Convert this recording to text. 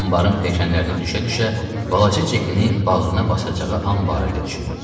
Anbarın pilləkənlərinə düşə-düşə balaca Cekini bağrına basacağı an barədə düşünürdü.